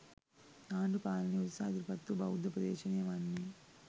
ආණ්ඩු පාලනය උදෙසා ඉදිරිපත් වූ බෞද්ධ උපදේශනය වන්නේ